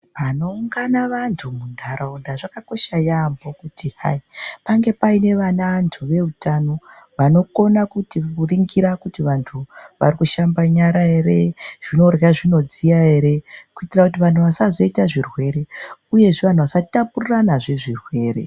Panoungana vanthu muntaraunda zvakakosha yaambho pange Paine vanthu veutano vanokona kuningira kuti vanthu varikushamba nyara ere zvinorhya zvinodziya ere kuitira kuti vanthu vasazoita zvirwere uyezve vanhu vasatapuriranazve zvirwere.